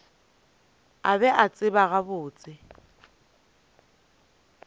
a be a tseba gabotse